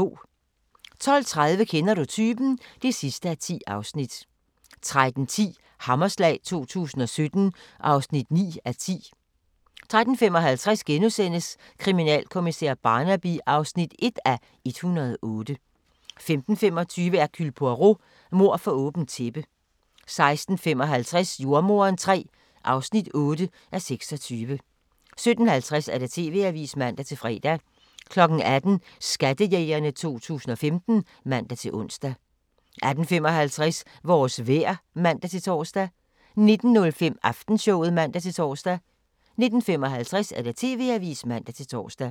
12:30: Kender du typen? (10:10) 13:10: Hammerslag 2017 (9:10) 13:55: Kriminalkommissær Barnaby (1:108)* 15:25: Hercule Poirot: Mord for åbent tæppe 16:55: Jordemoderen III (8:26) 17:50: TV-avisen (man-fre) 18:00: Skattejægerne 2015 (man-ons) 18:55: Vores vejr (man-tor) 19:05: Aftenshowet (man-tor) 19:55: TV-avisen (man-tor)